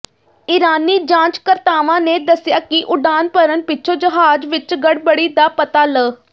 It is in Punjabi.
ਈਰਾਨੀ ਜਾਂਚਕਰਤਾਵਾਂ ਨੇ ਦੱਸਿਆ ਕਿ ਉਡਾਣ ਭਰਨ ਪਿੱਛੋਂ ਜਹਾਜ਼ ਵਿਚ ਗੜਬੜੀ ਦਾ ਪਤਾ ਲ